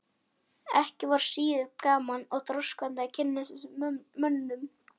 Ekki var síður gaman og þroskandi að kynnast þessum mönnum.